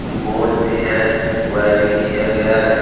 Board भी है wiring किया गया है।